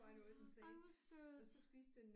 Åh ej hvor sødt